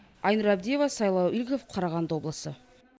айнұр абдиева сайлау игіліков қарағанды облысы